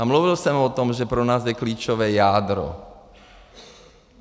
A mluvil jsem o tom, že pro nás je klíčové jádro.